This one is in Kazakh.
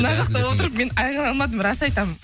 мына жақта отырып мен айқайлай алмадым рас айтамын